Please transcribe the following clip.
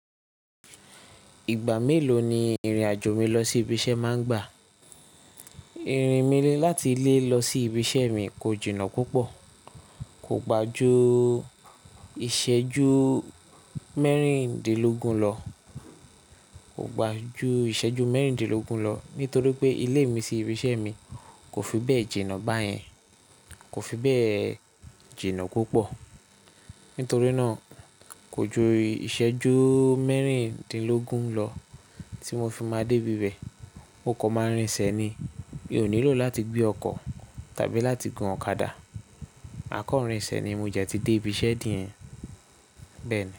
Ìgbà mélòó ni ìrìn àjò mi lọ sí ibi iṣẹ́ máa ń gbà? Ìrìn mi láti ilé lọ sí ibi iṣẹ́ mi kò jìnnà púpọ̀, kò gbà ju ìṣẹ́jú mẹ́rìndínlógún lọ. Kò gbà ju ìṣẹ́jú mẹ́rìndínlógún lọ nítorí pé ilé mi sí ibi iṣẹ́ mi kò fi bẹ́ẹ̀ jìnnà bá yẹn, kò fi bẹ́ẹ̀ jìnnà púpọ̀. Nítorí náà, kò ju ìṣẹ́jú mẹ́rìndínlógún lọ tí mo fi máa dé ibi bẹ. Mo kàn máa rìn sẹ̀ ni, mi ò nílò láti gbé ọkọ̀ tàbí láti gun ọ̀kadà. Máa kan rinsẹ̀ ni mo dẹ ti dé ibi iṣẹ́ ní yẹn. Bẹ́ẹ̀ ni.